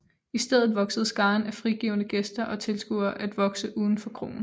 I stedet voksede skaren af frigivne gæster og tilskuere at vokse uden for kroen